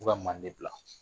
U ka manden bila